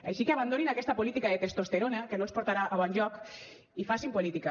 així que abandonin aquesta política de testosterona que no els portarà a bon lloc i facin política